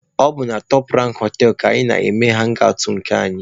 Ọ bụ na Top Rank họtelụ ka anyị na-eme hangi awụt nke anyị.